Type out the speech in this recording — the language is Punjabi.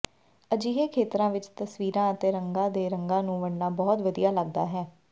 ਅਜਿਹੇ ਖੇਤਰਾਂ ਵਿੱਚ ਤਸਵੀਰਾਂ ਅਤੇ ਰੰਗਾਂ ਦੇ ਰੰਗਾਂ ਨੂੰ ਵੰਡਣਾ ਬਹੁਤ ਵਧੀਆ ਲੱਗਦਾ ਹੈ